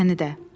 Məni də.